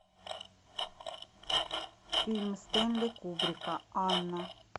фильм стэнли кубрика анна